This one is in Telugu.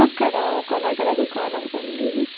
అక్కడ ఒక నగల దుకాణం ఉంది.